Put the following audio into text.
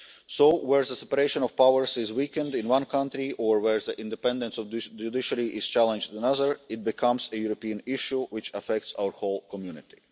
issue. So, where the separation of powers is weakened in one country, or where the independence of the judiciary is challenged in another, it becomes a European issue which affects our whole community.